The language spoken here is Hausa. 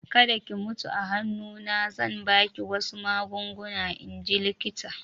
Kada ki mutu a hannu na!" Zan ba ki wasu magunguna in ji likitan